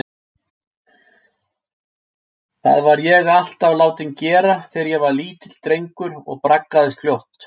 Það var ég alltaf látinn gera þegar ég var lítill drengur og braggaðist fljótt.